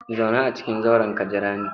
Zauna a cikin zauren ka jira ni!